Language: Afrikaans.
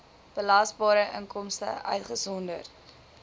belasbare inkomste uitgesonderd